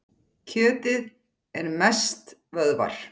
Kjötið er mest vöðvar.